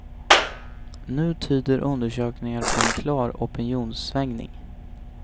Nu tyder undersökningar på en klar opinionssvängning.